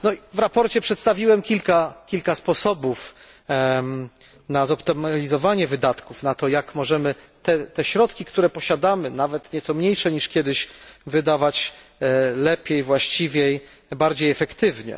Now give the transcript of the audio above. W sprawozdaniu przedstawiłem kilka sposobów na zoptymalizowanie wydatków, na to, jak możemy te środki, które posiadamy nawet nieco mniejsze niż kiedyś wydawać lepiej, właściwiej, bardziej efektywnie.